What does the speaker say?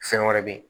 Fɛn wɛrɛ be ye